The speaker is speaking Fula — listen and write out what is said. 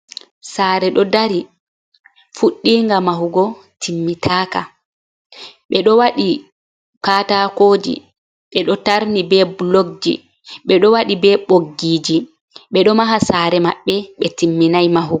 Saare ɗo dari, fuɗdiinga mahugo timmitaaka, ɓe ɗo waɗi kaataakooji ɓe ɗo taarni bee bulokji, ɓe ɗo waɗi bee ɓoggiiji, ɓe ɗo maha saare maɓɓe ɓe timminay mahugo.